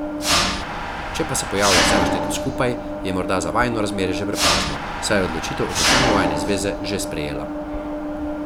Če pa se pojavlja vse našteto skupaj, je morda za vajino razmerje že prepozno, saj je odločitev o končanju vajine zveze že sprejela.